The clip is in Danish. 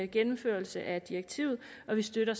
gennemførelse af direktivet og vi støtter